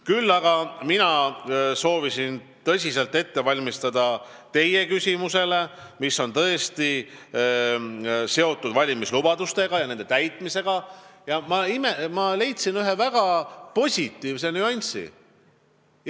Küll aga valmistusin ma tõsiselt teie küsimuseks, mis on seotud valimislubaduste ja nende täitmisega, ning leidsin ühe väga positiivse nüansi.